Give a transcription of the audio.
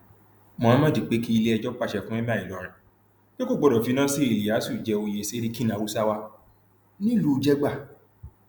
mohammed pé kí iléẹjọ pàṣẹ fún emir ìlọrin pé kò gbọdọ fi nasir iliyasu jẹ oyè serikin haúsáwà nílùú jegba